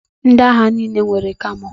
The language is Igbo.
Ndị agha niile nwere camo.